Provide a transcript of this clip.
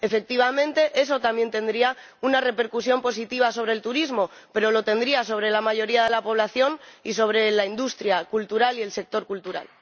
Efectivamente, eso también tendría una repercusión positiva sobre el turismo, pero la tendría sobre la mayoría de la población y sobre la industria cultural y el sector cultural.